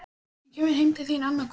Hann kemur heim til þín annað kvöld